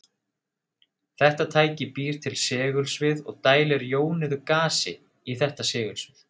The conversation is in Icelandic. Þetta tæki býr til segulsvið og dælir jónuðu gasi, í þetta segulsvið.